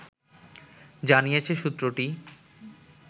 জানিয়েছে সূত্রটি